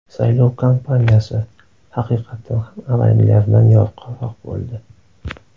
Saylov kampaniyasi, haqiqatan ham avvalgilaridan yorqinroq bo‘ldi.